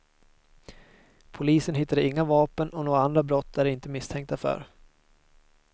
Polisen hittade inga vapen och några andra brott är de inte misstänkta för.